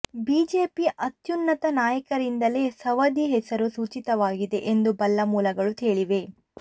BJP ಅತ್ಯುನ್ನತ ನಾಯಕರಿಂದಲೇ ಸವದಿ ಹೆಸರು ಸೂಚಿತವಾಗಿದೆ ಎಂದು ಬಲ್ಲ ಮೂಲಗಳು ಹೇಳಿವೆ